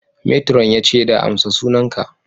Matron ya ce da ''Amsa sunan ka!''